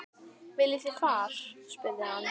Viljið þið far? spurði hann.